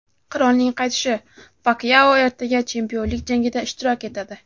"Qirolning qaytishi": Pakyao ertaga chempionlik jangida ishtirok etadi.